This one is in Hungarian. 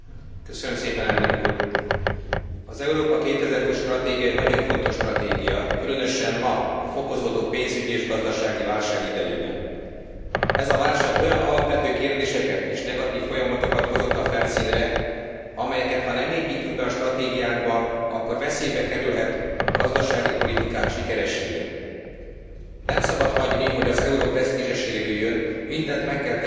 Az Európa 2020 stratégia egy nagyon fontos stratégia, különösen ma, a fokozódó pénzügyi és gazdasági válság idejében. Ez a válság olyan alapvető kérdéseket és negatív folyamatokat hozott a felszínre, amelyeket ha nem építünk be a stratégiánkba, akkor veszélybe kerülhet gazdasági politikánk sikeressége. Nem szabad hagyni, hogy az euró presztízse sérüljön, mindent meg kell tenni a monetáris unió fenntarthatóságáért.